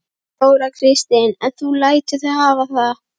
Þóra Kristín: En þú lætur þig hafa það?